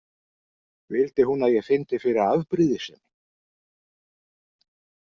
Vildi hún að ég fyndi fyrir afbrýðisemi?